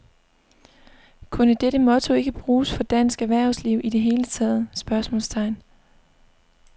Kunne dette motto ikke bruges for dansk erhvervsliv i det hele taget? spørgsmålstegn